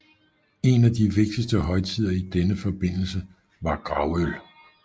En af de vigtigste højtider i denne forbindelse var gravøl